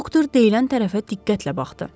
Doktor deyilən tərəfə diqqətlə baxdı.